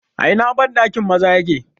A ina bandakin maza yake?